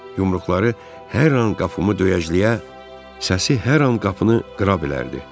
Yumruqları hər an qapımı döyəcləyə, səsi hər an qapını qıra bilərdi.